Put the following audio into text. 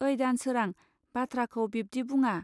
ओइ दानसोरां बाथ्राखौ बिब्दि बुङा